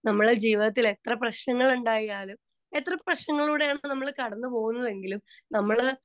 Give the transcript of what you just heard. speaker 2 നമ്മുടെ ജീവിതത്തിൽ എത്ര പ്രശ്നങ്ങൾ ഉണ്ടായാലും എത്ര പ്രശ്നങ്ങളിലൂടെയാണ് നമ്മൾ കടന്നു പോകുന്നത് എങ്കിലും നമ്മള്